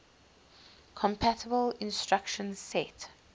compatible instruction set